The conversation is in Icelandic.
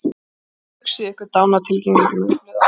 Hugsið ykkur dánartilkynninguna í blöðunum.